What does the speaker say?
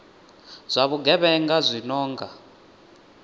zwa vhugevhenga zwi no nga